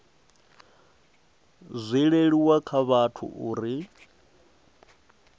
zwi leluwe kha vhathu uri